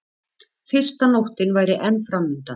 Fyrsta nóttin væri enn framundan.